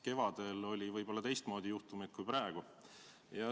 Kevadel oli võib-olla teistmoodi juhtumeid kui praegu.